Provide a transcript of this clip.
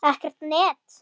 Ekkert net.